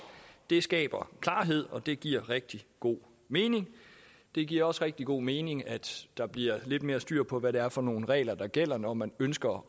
det skaber klarhed og det giver rigtig god mening det giver også rigtig god mening at der bliver lidt mere styr på hvad det er for nogle regler der gælder når man ønsker